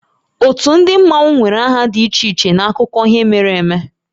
Ótú ndị Mmanwu nwere aha dị iche iche n'akụkọ ihe mere eme